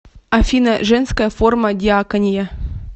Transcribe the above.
афина женская форма диакония